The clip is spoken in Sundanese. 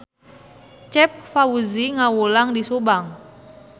Cep Fauzi ngawulang di Subang